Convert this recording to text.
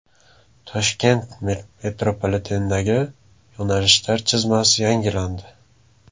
Toshkent metropolitenidagi yo‘nalishlar chizmasi yangilandi.